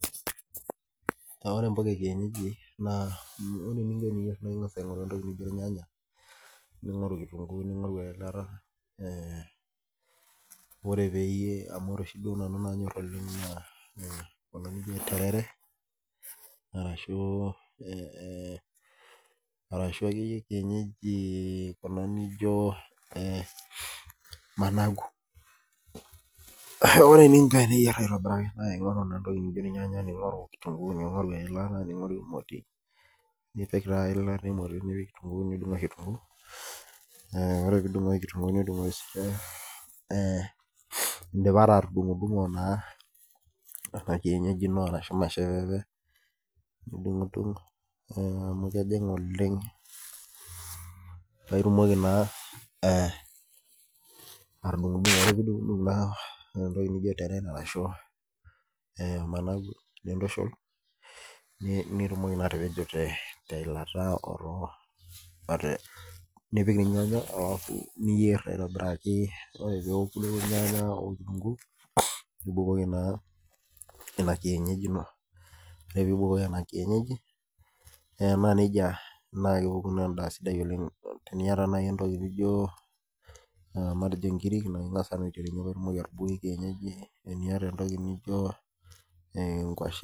Ore mpuka ekienyeji ore eninko teniyier naa ingas aingoru entoki naijo irnyanya ningoru kitunkuu ningoru eilata ,amu ore oshi nanyor nanu oleng naa kuna niajo terere arashu akeyie kienyeji kuna naijo managu. Ore ninche pee iyier aitobiraki ningoru entoki naijo irnyanya ,ningoru kitunkuu ningoru eilata ningoru emoti, nipik taa eilata emoti nipik siininye kitunkuu indipa taa atudungudungo Nena kienyeji ino ashu misheveve nidungudungu amu kejing oleng paa itumoki naa atudungudungo ,ore pee idung entoki naijo misheveve omanagu nintushul ,nitumoki naa atapejo teilata otornyanya niyer aitobiraki ,ore pee eku irnyanya okitunkuu nibukoki naa ina kienyeji ino, ore pee ibukoki ina kienyeji, naa kepuku endaa sidai oleng. Tiniyata naaji entoki naijo matejo nkiri naa ingas ake aiterunyie pee itumoki atubukoki kienyeji .